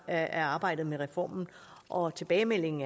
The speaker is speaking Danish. af arbejdet med reformen og tilbagemeldingen